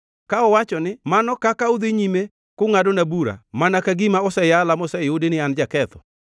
“Ka uwacho ni, ‘Mano kaka udhi nyime kungʼadona bura, mana ka gima oseyala moseyudi ni an jaketho,’